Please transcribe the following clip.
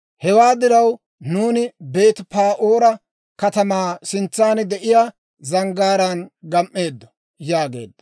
«Hewaa diraw, nuuni Beeti-Pa'oora katamaa sintsan de'iyaa zanggaaraan gam"eeddo» yaageedda.